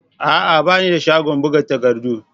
A'a! Ba ni da shagon buga takardu.